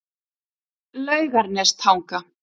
Laugarnestanga